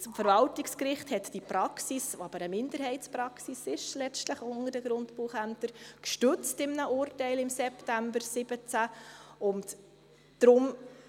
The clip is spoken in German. Das Verwaltungsgericht hat diese Praxis, die aber letztlich unter den Grundbuchämtern eine Minderheitenpraxis war, im September 2017 gestützt.